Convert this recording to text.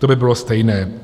To by bylo stejné.